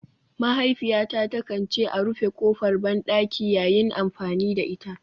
Mahaifiyata takan ce a rufe kofar bandaki yayin amfani da ita.